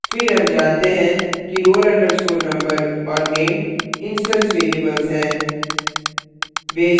फिर हम जानते हैं कि roll _ number और name instance variables हैं